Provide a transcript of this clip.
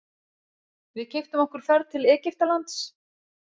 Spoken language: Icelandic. Við keyptum okkur ferð til Egyptalands.